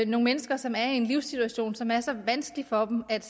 nogle mennesker som er i en livssituation som er så vanskelig for dem at